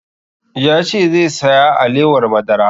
Ya ce zai saya alewar madara